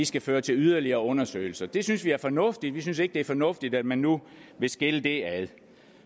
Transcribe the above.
skal føre til yderligere undersøgelser det synes vi er fornuftigt vi synes ikke det er fornuftigt at man nu vil skille det ad